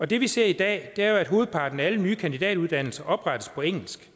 det vi ser i dag er jo at hovedparten af alle nye kandidatuddannelser oprettes på engelsk